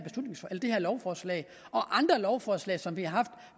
lovforslag og andre lovforslag som vi har haft